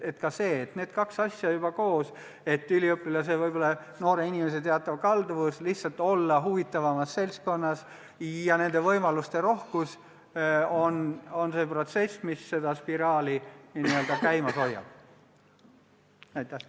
Need kaks asja koos – üliõpilase, noore inimese teatav kalduvus lihtsalt olla huvitavamas seltskonnas ja võimaluste rohkus – on need tegurid, mis seda spiraalset protsessi n-ö käimas hoiavad.